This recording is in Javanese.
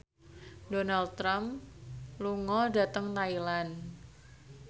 Donald Trump lunga dhateng Thailand